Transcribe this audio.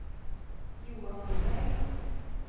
Johan Nyberg